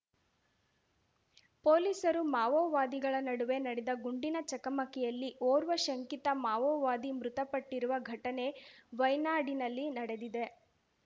ಪೊಲೀಸರು ಮಾವೋವಾದಿಗಳ ನಡುವೆ ನಡೆದ ಗುಂಡಿನ ಚಕಮಕಿಯಲ್ಲಿ ಓರ್ವ ಶಂಕಿತ ಮಾವೋವಾದಿ ಮೃತಪಟ್ಟಿರುವ ಘಟನೆ ವೈನಾಡಿನಲ್ಲಿ ನಡೆದಿದೆ